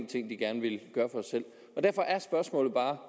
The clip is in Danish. ting de gerne ville gøre selv derfor er spørgsmålet bare